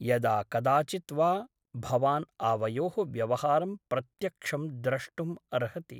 यदाकदाचित् वा भवान् आवयोः व्यवहारं प्रत्यक्षं द्रष्टुम् अर्हति ।